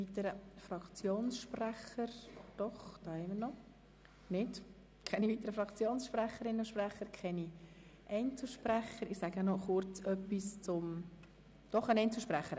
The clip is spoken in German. Es haben sich keine weiteren Fraktionssprecher gemeldet, sondern noch eine Einzelsprecherin.